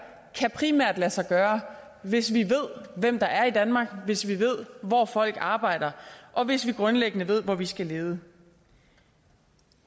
primært lade sig gøre hvis vi ved hvem der er i danmark hvis vi ved hvor folk arbejder og hvis vi grundlæggende ved hvor vi skal lede